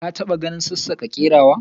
ka ta ba ganin sassaka kerawa?